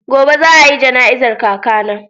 Gobe za a yi jana'izar kakana.